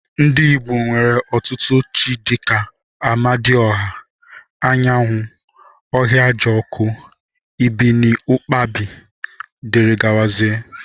Ndi igbo nwere otutu chi dika: amadi ọha, anyanwụ, ahiajoku ibiniụkpabi dgz.